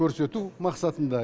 көрсету мақсатында